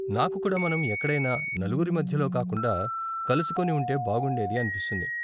నాకు కూడా మనం ఎక్కడైనా నలుగురి మధ్యలో కాకుండా కలుసుకొని ఉంటే బాగుండేది అనిపిస్తుంది.